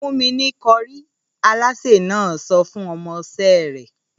‘Fún mi ní ko̩rí!’, alásè náà so̩ fún o̩mo̩ is̩é̩ rè̩